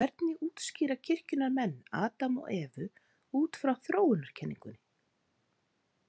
Hvernig útskýra kirkjunnar menn Adam og Evu út frá þróunarkenningunni?